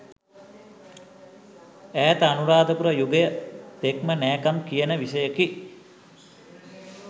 ඈත අනුරාධපුර යුගය තෙක්ම නෑකම් කියන විෂයයකි.